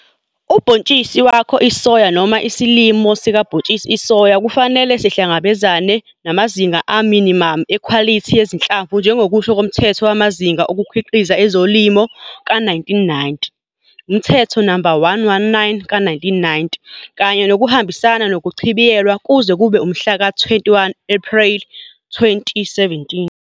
Ubhontshisi wakho isoya noma isilimo sikabhontshisi isoya kufanele sihlangabezane namazinga aminimamu ekhwalithi yezinhlamvu njengokusho koMthetho wamaZinga oKukhiqiza ezoLimo ka-1990, Umthetho No 119 ka-1990, Kanye nokuhambisana nokuchibiyelwa kuze kube umhla ka-21 Ephreli 2017.